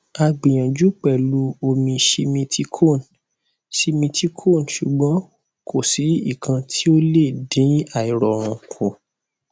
ó um wà ní bactrim fún ọjọ márùnún ọjọ ìṣẹgun sí um ọjọ um àbámẹta